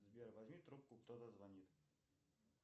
сбер возьми трубку кто то звонит